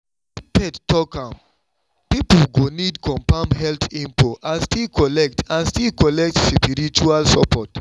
if faith talk am people go need confirm health info and still collect and still collect spiritual support.